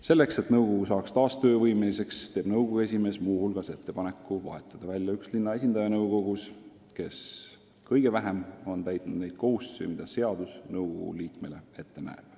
Selleks et nõukogu saaks taas töövõimeliseks, teeb nõukogu esimees muu hulgas ettepaneku vahetada nõukogus välja üks linna esindaja, kes kõige vähem on täitnud kohustusi, mida seadus nõukogu liikmele ette näeb.